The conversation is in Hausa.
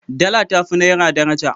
Dala ta fi naira daraja.